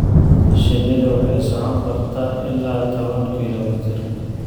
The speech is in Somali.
Shinnidu waxay socon kartaa ilaa toban kilomitir.